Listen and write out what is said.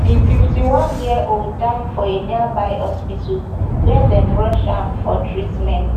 di fifty-oneyearold die for a nearby hospital wia dem rush am for treatment